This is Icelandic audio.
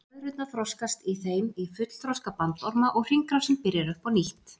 blöðrurnar þroskast í þeim í fullþroska bandorma og hringrásin byrjar upp á nýtt